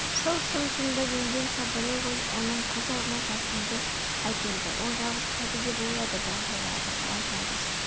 сол шым-шымдап енген сабырлы ой оның көз алдына жасынды әкелді ол жалғыз қалды деп ойлады бағила жападан-жалғыз